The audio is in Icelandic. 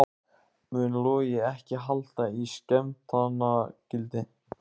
Mun Logi ekki halda í skemmtanagildið?